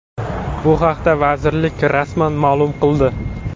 Bu haqda vazirlik rasman ma’lum qildi .